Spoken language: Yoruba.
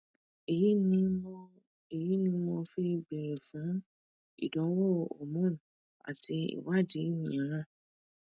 èyí ni mo èyí ni mo fi béèrè fún ìdánwò hormone àti ìwádìí míràn